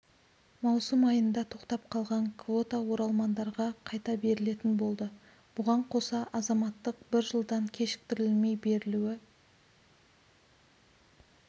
маусым айында тоқтап қалған квота оралмандарға қайта берілетін болды бұған қоса азаматтық бір жылдан кешіктірілмей берілуі